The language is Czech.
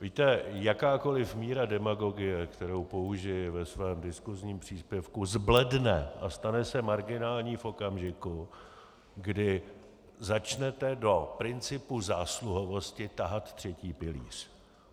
Víte, jakákoliv míra demagogie, kterou použiji ve svém diskusním příspěvku, zbledne a stane se marginální v okamžiku, kdy začnete do principu zásluhovosti tahat třetí pilíř.